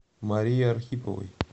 марии архиповой